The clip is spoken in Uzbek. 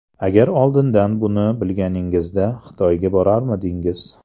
Agar oldindan buni bilganingizda Xitoyga borarmidingiz?